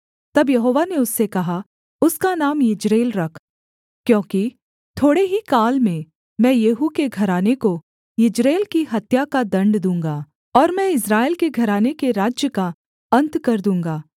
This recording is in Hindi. तब यहोवा ने उससे कहा उसका नाम यिज्रेल रख क्योंकि थोड़े ही काल में मैं येहू के घराने को यिज्रेल की हत्या का दण्ड दूँगा और मैं इस्राएल के घराने के राज्य का अन्त कर दूँगा